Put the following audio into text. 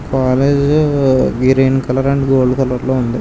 Green colour and gold colour లో ఉంది.